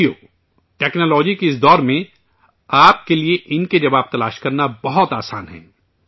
ساتھیو، ٹیکنالوجی کے اس دور میں آپ کے لیے ان کے جواب تلاش کرنا بہت آسان ہے